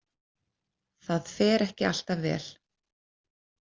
Það fer ekki alltaf vel.